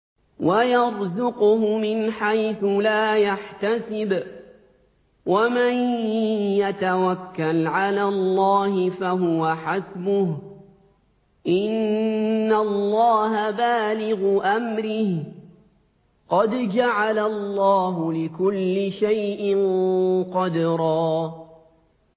وَيَرْزُقْهُ مِنْ حَيْثُ لَا يَحْتَسِبُ ۚ وَمَن يَتَوَكَّلْ عَلَى اللَّهِ فَهُوَ حَسْبُهُ ۚ إِنَّ اللَّهَ بَالِغُ أَمْرِهِ ۚ قَدْ جَعَلَ اللَّهُ لِكُلِّ شَيْءٍ قَدْرًا